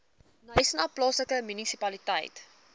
knysna plaaslike munisipaliteit